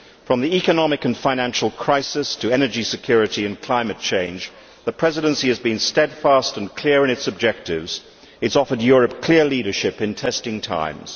From the economic and financial crisis to energy security and climate change, the Presidency has been steadfast and clear in its objectives and it has offered Europe clear leadership in testing times.